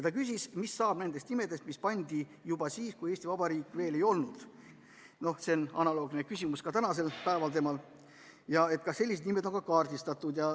Ta küsis, mis saab nendest nimedest, mis pandi juba siis, kui Eesti Vabariiki veel ei olnud – analoogne küsimus oli tal ka täna –, ja kas sellised nimed on kaardistatud.